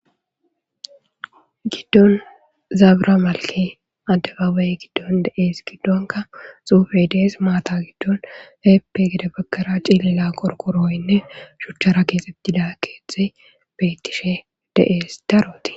giddon zaabra malke addebaaway giddon de7ees giddonka xufe dees maata giddon heeppegede bagkara cilila qorkorooynne shuchchara keexeb dila keetxe bettishe de'es darooti